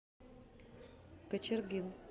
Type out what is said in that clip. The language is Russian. кочергин